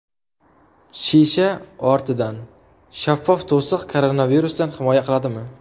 Shisha ortidan: shaffof to‘siq koronavirusdan himoya qiladimi?.